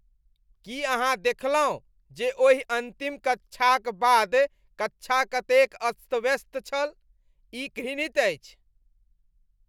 की अहाँ देखलहुँ जे ओहि अन्तिम कक्षाक बाद कक्षा कतेक अस्तव्यस्त छल? ई घृणित अछि।